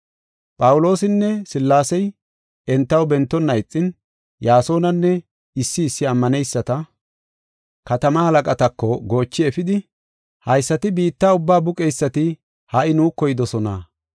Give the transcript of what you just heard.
Phawuloosinne Sillaasey entaw bentonna ixin, Yaasonanne issi issi ammaneyisata katamaa halaqatako goochi efidi, “Haysati biitta ubbaa buqeysati ha77i nuuko yidosona.